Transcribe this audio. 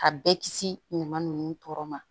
A bɛɛ kisi ɲuman ninnu tɔɔrɔ ma